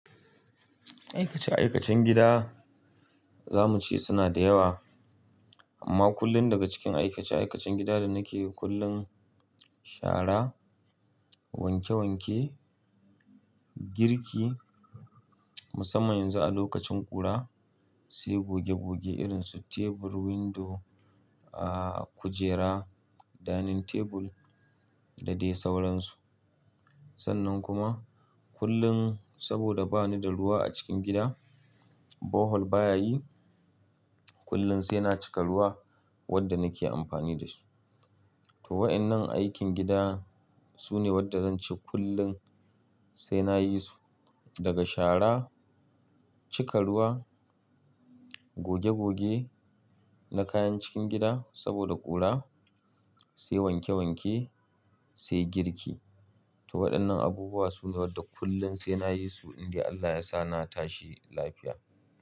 Aikace-aikacen gida za mu ce suna da yawa. Amma kullum daga cikin aikace-aikacen gida da nake kullum shara, wanke-wanke, girki. Musamman yanzu a lokacin ƙura sai goge-goge irin su tebur, windo, a-a kujera, dining table da dai sauransu. Sannan kuma kullum saboda ba ni da ruwa a cikin gida, borehole baya yi, kullum sai na cika ruwa wanda nake amfani da su. To wainan aikin gida sune wanda zance kullum sai nayi su daga shara, cika ruwa, goge-goge na kayan cikin gida saboda ƙura, sai wanke-wanke, sai girki. To waɗannan abubuwa su ne waɗanda kullum sai na yi su in dai Allah ya sa na tashi lafiya.